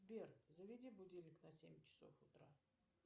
сбер заведи будильник на семь часов утра